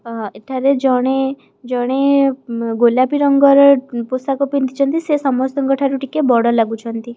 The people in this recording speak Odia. ଅ ଏଠାରେ ଜଣେ ଜଣେ ମ୍ ଗୋଲାପି ରଙ୍ଗର ଅ ପୋଷାକ ପିନ୍ଧିଚନ୍ତି ସିଏ ସମସ୍ତଙ୍କଠାରୁ ଟିକିଏ ବଡ଼ ଲାଗୁଚନ୍ତି।